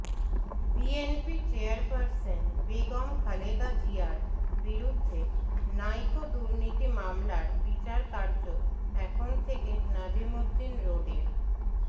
BNP chairperson Begum Khaleda জিয়ার বিরুদ্ধে Niko দুর্নীতি মামলার বিচার কার্য এখন থেকে নাজিমুদ্দিন রোডের